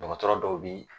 Dɔgɔtɔrɔ dɔw bi